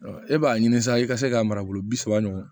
e b'a ɲini sisan i ka se k'a mara bi saba ɲɔgɔn